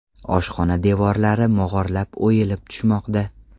Oshxona devorlari mog‘orlab, o‘yilib tushmoqda.